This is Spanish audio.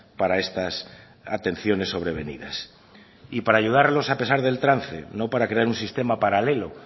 para estas atenciones sobrevenidas para ayudarlos a pesar del trance no para crear un sistema paralelo